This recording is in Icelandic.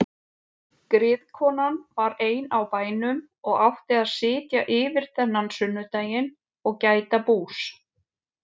Griðkonan var ein á bænum og átti að sitja yfir þennan sunnudaginn og gæta bús.